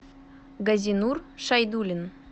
газинур шайдулин